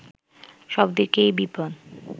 সব দিকেই বিপদ